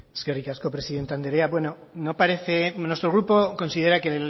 eskerrik asko presidente andrea bueno no parece nuestro grupo considera que